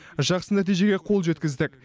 жақсы нәтижеге қол жеткіздік